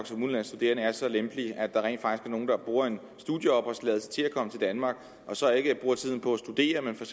som udenlandsk studerende er så lempelige at der rent er nogle der bruger en studieopholdstilladelse til at komme til danmark og så ikke bruger tiden på at studere men for